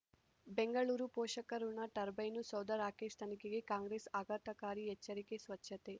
ಬೆಂಗಳೂರು ಪೋಷಕಋಣ ಟರ್ಬೈನು ಸೌಧ ರಾಕೇಶ್ ತನಿಖೆಗೆ ಕಾಂಗ್ರೆಸ್ ಆಘಾತಕಾರಿ ಎಚ್ಚರಿಕೆ ಸ್ವಚ್ಛತೆ